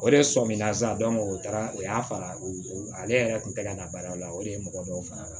O de sɔmina sa o taara o y'a fara o ale yɛrɛ kun tɛ na baara la o de ye mɔgɔ dɔw fana